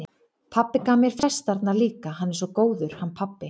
Pabbi gaf mér festarnar líka, hann er svo góður, hann pabbi.